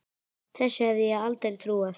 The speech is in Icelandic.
Þessu hefði ég aldrei trúað.